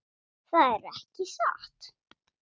Það er ekki satt.